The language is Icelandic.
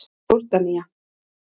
Jórdanía